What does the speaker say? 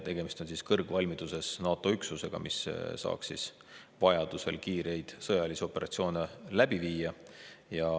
Tegemist on kõrgvalmiduses NATO üksusega, mis saaks vajadusel kiireid sõjalisi operatsioone läbi viia.